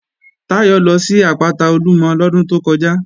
Táyọ̀ lọ sí àpáta Olúmọ lọ́dún tó kọjá